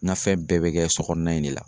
Ŋa fɛn bɛɛ bɛ kɛ so kɔɔna in de la.